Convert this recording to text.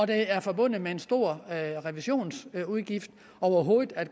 det er forbundet med en stor revisionsudgift overhovedet at